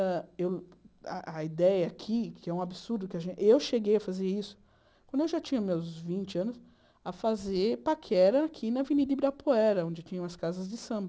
Hã eu a a ideia aqui, que é um absurdo, eu cheguei a fazer isso quando eu já tinha meus vinte anos, a fazer paquera aqui na Avenida Ibirapuera, onde tinham as casas de samba.